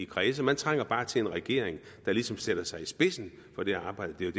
kredse man trænger bare til en regering der ligesom sætter sig i spidsen for det arbejde det er